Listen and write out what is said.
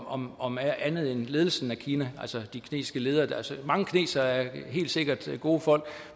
om om andet end ledelsen af kina altså de kinesiske ledere mange kinesere er helt sikkert gode folk